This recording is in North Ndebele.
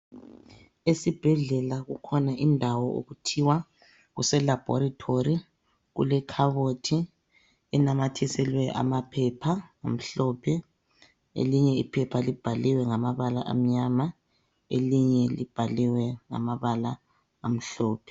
Esibhedlela kukhona indawo okuthiwa kuselabholitholi. Kulekhabothi, inamathiselwe amaphepha amhlophe, elinye iphepha libhaliwe ngamabala amnyama, elinye libhaliwe ngamabala amhlophe.